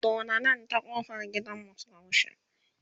doddani ta ƙofan gidanmu Suka wuce